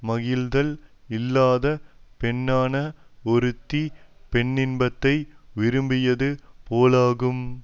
முகிழ்த்தல் இல்லாத பெண்ணான ஒருத்தி பெண்ணின்பத்தை விரும்பியது போலாகும்